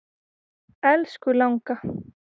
Elsku langa.